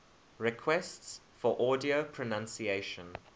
requests for audio pronunciation